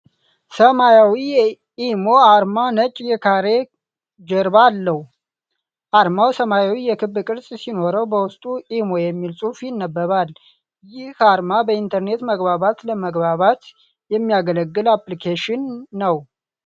ሰማያዊ ኢሞ አርማ ነጭ የካሬ ጀርባ አለው። አርማው ሰማያዊ የክብ ቅርፅ ሲኖረው፣ በውስጡ “ኢሞ” የሚል ጽሑፍ ይነበባል። ይህ አርማ በኢንተርኔት መግባባት ለመግባባት የሚያገለግል አፕልኬሽን ነው፡፡